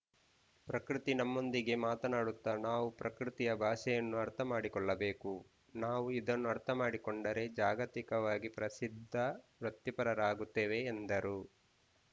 ಪ್ರಕೃತಿ ನಮ್ಮೊಂದಿಗೆ ಮಾತನಾಡುತ್ತ ನಾವು ಪ್ರಕೃತಿಯ ಭಾಷೆಯನ್ನು ಅರ್ಥಮಾಡಿಕೊಳ್ಳಬೇಕು ನಾವು ಇದನ್ನು ಅರ್ಥಮಾಡಿಕೊಂಡರೆ ಜಾಗತಿಕವಾಗಿ ಪ್ರಸಿದ್ಧ ವೃತ್ತಿಪರರಾಗುತ್ತೇವೆ ಎಂದರು